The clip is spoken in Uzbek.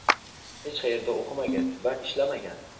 hech qayerda o‘qimagan va ishlamagan.